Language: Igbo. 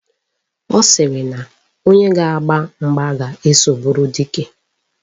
Ọ sịrị na onye ga-agba mgba ga-eso bụrụ dike.